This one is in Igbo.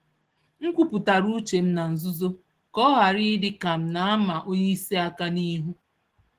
M kwupụtara uchem na nzuzo, ka ọhara i dịka m nama onyeisi àkà n'ihu